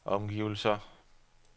omgivelser